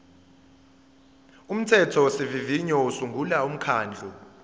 umthethosivivinyo usungula umkhandlu